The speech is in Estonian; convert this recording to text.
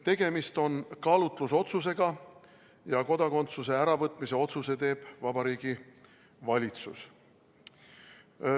Tegemist on kaalutlusotsusega ja kodakondsuse äravõtmise otsuse teeb Vabariigi Valitsus.